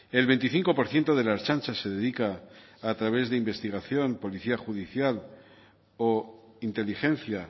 el veinticinco por ciento de la ertzaintza se dedica a través de investigación policial policía judicial o inteligencia